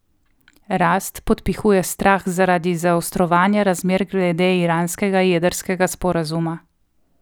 Rast podpihuje strah zaradi zaostrovanja razmer glede iranskega jedrskega sporazuma.